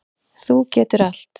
Þú getur allt.